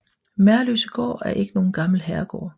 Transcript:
Merløsegård er ikke nogen gammel herregård